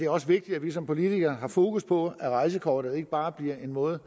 også vigtigt at vi som politikere har fokus på at rejsekortet ikke bare bliver en måde